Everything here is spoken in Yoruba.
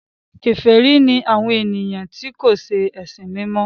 kèfèrí ni àwọn ènìyàn tí kò se ẹsìn mí mọ.